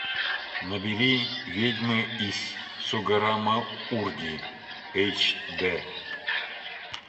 набери ведьмы из сугаррамурди эйч д